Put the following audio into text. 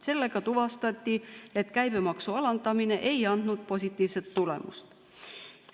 Sellega tuvastati, et käibemaksu alandamine ei andnud positiivset tulemust.